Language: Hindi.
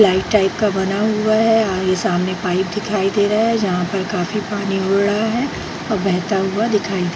लाइट टाइप का बना हुआ है और ये सामने पाइप दिखाई दे रहा है | जहाँ पर काफी पानी उड़ रहा है और बहता हुआ दिखाई --